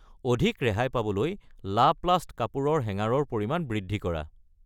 অধিক ৰেহাই পাবলৈ লাপ্লাষ্ট কাপোৰৰ হেঙাৰ ৰ পৰিমাণ বৃদ্ধি কৰা।